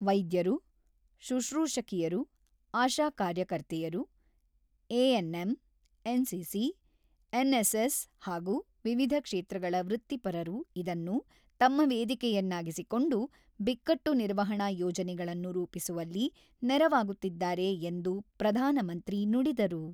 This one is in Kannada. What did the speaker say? ವೈದ್ಯರು, ಶುಕ್ರೂಶಕಿಯರು, ಆಶಾ ಕಾರ್ಯಕರ್ತೆಯರು, ಎಎನ್‌ಎಂ, ಎನ್‌ಸಿಸಿ, ಎನ್‌ಎಸ್‌ಎಸ್ ಹಾಗೂ ವಿವಿಧ ಕ್ಷೇತ್ರಗಳ ವೃತ್ತಿಪರರ ಇದನ್ನು ತಮ್ಮ ವೇದಿಕೆಯನ್ನಾಗಿಸಿಕೊಂಡು ಬಿಕ್ಕಟ್ಟು ನಿರ್ವಹಣಾ ಯೋಜನೆಗಳನ್ನು ರೂಪಿಸುವಲ್ಲಿ ನೆರವಾಗುತ್ತಿದ್ದಾರೆ ಎಂದು ಪ್ರಧಾನಮಂತ್ರಿ ನುಡಿದರು.